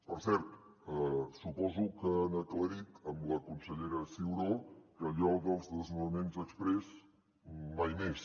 per cert suposo que han aclarit amb la consellera ciuró que allò dels desnonaments exprés mai més